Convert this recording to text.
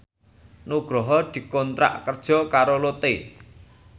Nugroho dikontrak kerja karo Lotte